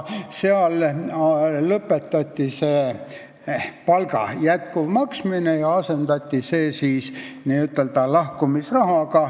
Sellega lõpetati palga jätkuv maksmine ja asendati see n-ö lahkumisrahaga.